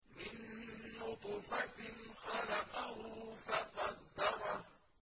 مِن نُّطْفَةٍ خَلَقَهُ فَقَدَّرَهُ